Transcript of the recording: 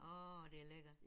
Åh det er lækkert